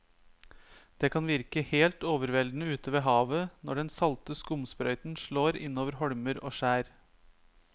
Det kan virke helt overveldende ute ved havet når den salte skumsprøyten slår innover holmer og skjær.